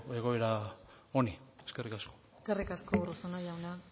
egoera honi eskerrik asko eskerrik asko urruzuno jauna